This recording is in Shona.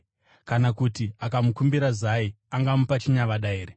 Kana kuti akakumbira zai, angamupa chinyavada here?